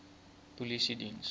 polisiediens